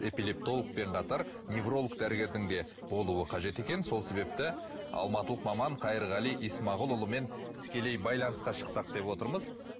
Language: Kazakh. эпилептологпен қатар невролог дәрігердің де болуы қажет екен сол себепті алматылық маман қайырғали исмағұлұлымен тікелей байланысқа шықсақ деп отырмыз